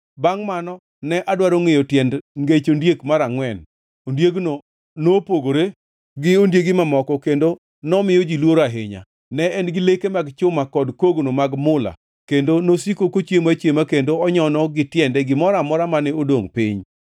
“Bangʼ mano ne adwaro ngʼeyo tiend ngech ondiek mar angʼwen, ondiegno nopogore gi ondiegi mamoko kendo nomiyo ji luoro ahinya; ne en gi leke mag chuma kod kogno mag mula kendo nosiko kochiemo achiema kendo onyono gi tiende gimoro amora mane odongʼ piny.